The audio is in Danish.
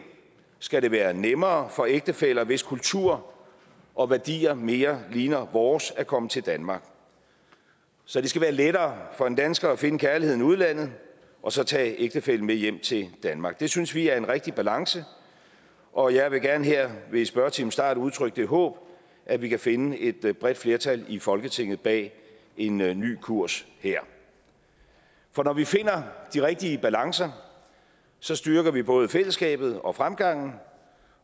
skal det være nemmere for ægtefæller hvis kultur og værdier mere ligner vores at komme til danmark så det skal være lettere for en dansker at finde kærligheden i udlandet og så tage ægtefællen med hjem til danmark det synes vi er en rigtig balance og jeg vil gerne her ved spørgetimens start udtrykke det håb at vi kan finde et bredt flertal i folketinget bag en en ny kurs her for når vi finder de rigtige balancer styrker vi både fællesskabet og fremgangen